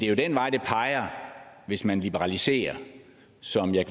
jo den vej det peger hvis man liberaliserer som jeg